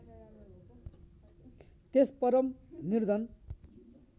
त्यस परम निर्धन